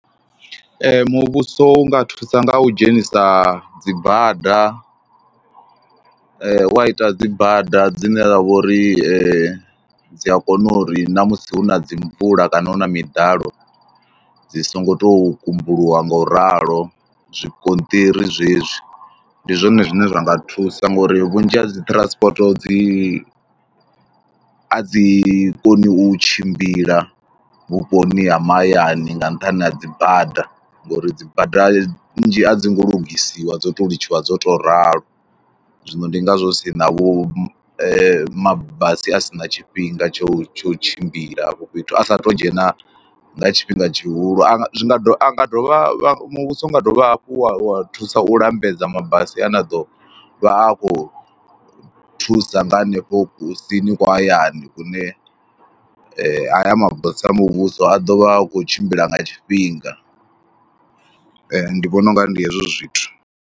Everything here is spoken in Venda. Muvhuso u nga thusa nga u dzhenisa dzi bada, wa ita dzi bada dzine dza vha uri dzi , dzi a kona uri na musi hu na dzi mvula kana hu na miḓalo dzi songo tou kumbuluwa ngouralo, zwigonṱiri zwezwi. Ndi zwone zwine zwa nga thusa ngori vhunzhi ha dzi transport dzi, a dzi koni u tshimbila vhuponi ha mahayani nga nṱhani ha dzi bada ngauri dzi bada nnzhi a dzi ngo lugisiwa, dzo tou litshisiwa dzo tou ralo. Zwino ndi ngazwo hu si na vhu mabasi a si na tshifhinga tsho tsho tshimbila hafho fhethu, a sa tou dzhena nga tshifhinga tshihulu a nga, zwi nga dovha, a nga dovha muvhuso u nga dovha hafhu wa thusa u lambedza mabasi ane a ḓo vha a khou thusa nga hanefho kusini kwa hayani kune haya mabasi a muvhuso a ḓo vha u khou tshimbila nga tshifhinga. Ndi vhona u nga ri ndi hezwo zwithu.